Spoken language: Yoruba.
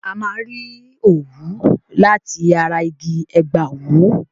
A máa n rí òwú láti ara igi ẹ̀gbàwú